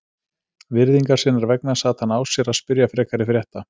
Virðingar sinnar vegna sat hann á sér að spyrja frekari frétta.